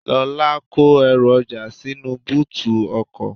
Lola kó èru oja sínú bóòtù ọkọ̀.